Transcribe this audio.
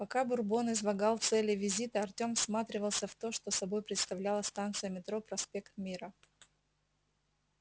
пока бурбон излагал цели визита артём всматривался в то что собой представляла станция метро проспект мира